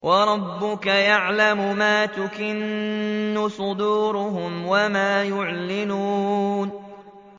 وَرَبُّكَ يَعْلَمُ مَا تُكِنُّ صُدُورُهُمْ وَمَا يُعْلِنُونَ